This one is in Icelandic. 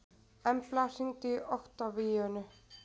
Embla, hringdu í Oktavíönu.